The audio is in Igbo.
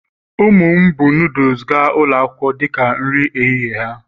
ụmụ m buu noodles gaa ụlọ akwụkwọ dị ka nri ehihie ha